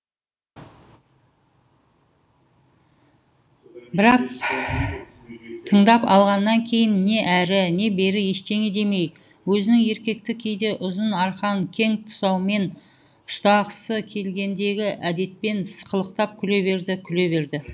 бірақ тыңдап алғаннан кейін не әрі не бері ештеңе демей өзінің еркекті кейде ұзын арқан кең тұсаумен ұстағысы келгендегі әдетпен сықылықтап күле берді күле берді